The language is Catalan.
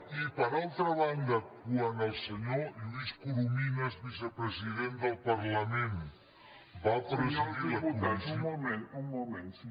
i per altra banda quan el senyor lluís corominas vicepresident del parlament va presidir la comissió